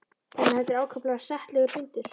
Þannig að þetta var ákaflega settlegur fundur.